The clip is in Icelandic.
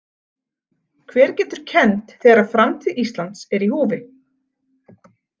Hver getur kennt þegar framtíð Íslands er í húfi?